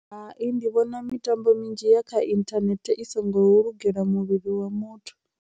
Hai, ndi vhona mitambo minzhi ya kha inthanethe i songo lugelwa muvhili wa muthu.